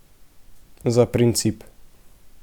Za princip.